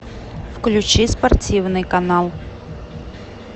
включи спортивный канал